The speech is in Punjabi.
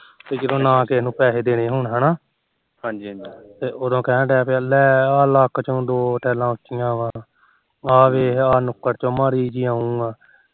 ਤੇ ਜਦੋਂ ਨਾ ਕਿਸੇ ਨੂੰ ਪੈਸੇ ਦੇਣੇ ਹੋਣ ਹਨਾ ਹਾਜੀ ਹੀਜਾ ਉਦੋ ਆ ਲੱਕ ਚੋ ਦੋ ਲੈਲਾ ਉਚੀਆਂ ਆ ਆ ਦੇ ਆਹ ਨੁਕਰ ਚੋ ਮਾੜੀ ਜੀ ਉਹ ਆ